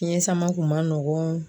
Fiɲɛ sama kun ma nɔgɔn.